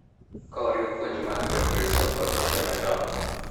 Ka oriw puonj mag Jokristo kod timbe machon.